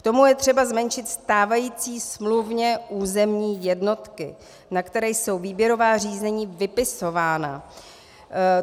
K tomu je třeba zmenšit stávající smluvně územní jednotky, na které jsou výběrová řízení vypisována.